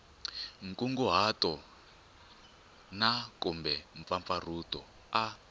nkunguhato na kumbe mpfampfarhuto a